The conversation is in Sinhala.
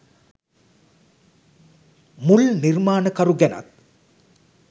මුල් නිර්මාණකරු ගැනත්